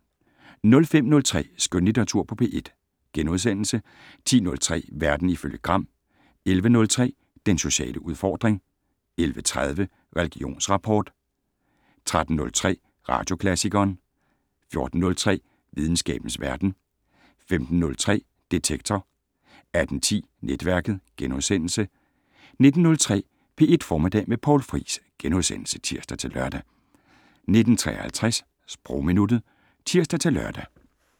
05:03: Skønlitteratur på P1 * 10:03: Verden ifølge Gram 11:03: Den sociale udfordring 11:30: Religionsrapport 13:03: Radioklassikeren 14:03: Videnskabens Verden 15:03: Detektor 18:10: Netværket * 19:03: P1 Formiddag med Poul Friis *(tir-lør) 19:53: Sprogminuttet (tir-lør)